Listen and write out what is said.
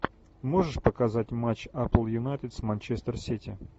можешь показать матч апл юнайтед с манчестер сити